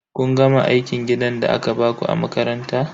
Kun gama aikin gidan da aka baku a makaranta?